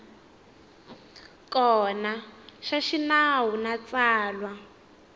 kona xa xinawu na tsalwa